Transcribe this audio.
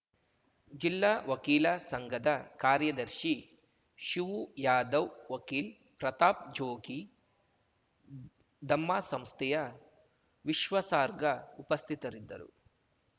ಜಿಲ್ಲಾ ವಕೀಲ ಸಂಘದ ಕಾರ್ಯದರ್ಶಿ ಶಿವುಯಾದವ್‌ ವಕೀಲ್ ಪ್ರತಾಪ್‌ ಜೋಗಿ ದಮ್ಮ ಸಂಸ್ಥೆಯ ವಿಶ್ವಸಾರ್ಗಾ ಉಪಸ್ಥಿತರಿದ್ದರು